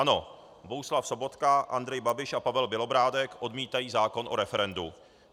Ano, Bohuslav Sobotka, Andrej Babiš a Pavel Bělobrádek odmítají zákon o referendu.